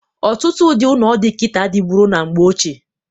Ọtụtụ ụdị ụnọ dị kịta adịburo na mgbe ochie.